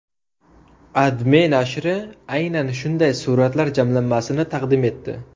AdMe nashri aynan shunday suratlar jamlanmasini taqdim etdi .